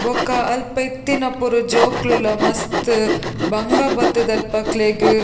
ಬೊಕ್ಕ ಅಲ್ಪ ಇತ್ತಿನ ಪೂರ ಜೋಕುಲ್ಲ ಮಸ್ತ್ ಬಂಗ ಬತ್ತುದು ಅಲ್ಪ ಅಕ್ಲೆಗ್--